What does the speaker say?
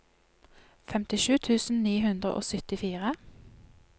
femtisju tusen ni hundre og syttifire